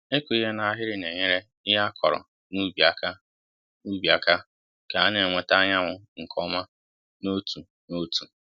ịkụ ihe na ahịrị na enyere ihe á kọrọ n'ubi aka n'ubi aka ka ha na-enweta anyanwu nke ọma n'otu n'otu